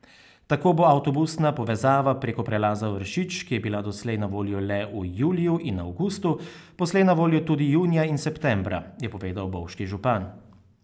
Tako bo avtobusna povezava preko prelaza Vršič, ki je bila doslej na voljo le v juliju in avgustu, poslej na voljo tudi junija in septembra, je povedal bovški župan.